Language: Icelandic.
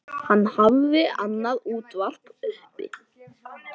Hann hafði annað útvarp uppi.